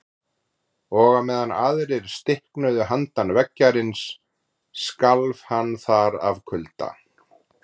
Og á meðan aðrir stiknuðu handan veggjarins skalf hann þar af kulda.